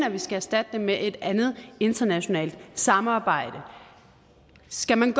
at vi skal erstatte det med et andet internationalt samarbejde skal man